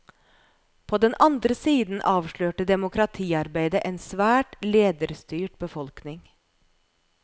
På den andre siden avslørte demokratiarbeidet en svært lederstyrt befolkning.